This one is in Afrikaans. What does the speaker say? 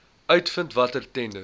uitvind watter tenders